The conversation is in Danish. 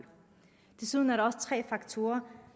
desuden er der også tre faktorer